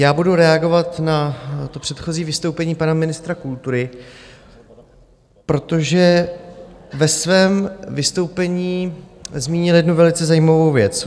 Já budu reagovat na to předchozí vystoupení pana ministra kultury, protože ve svém vystoupení zmínil jednu velice zajímavou věc.